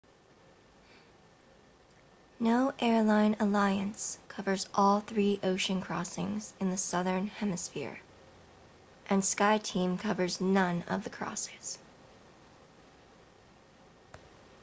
no airline alliance covers all three ocean crossings in the southern hemisphere and skyteam covers none of the crossings